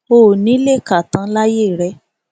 o ò ní í lè kà á tán láyé rẹ